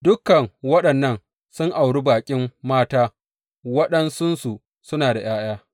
Dukan waɗannan sun auri baƙin mata, waɗansunsu suna da ’ya’ya.